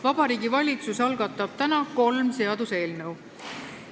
Vabariigi Valitsus algatab täna kolm seaduseelnõu.